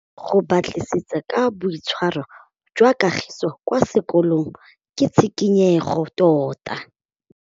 Go batlisisa ka boitshwaro jwa Kagiso kwa sekolong ke tshikinyêgô tota.